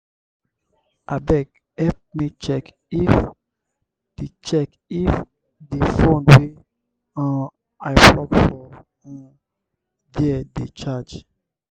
abeg help me check if di check if di fone wey um i plug for um there dey charge.